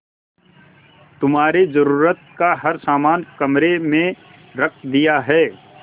तुम्हारे जरूरत का हर समान कमरे में रख दिया है